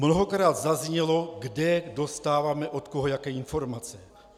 Mnohokrát zaznělo, kde dostáváme od koho jaké informace.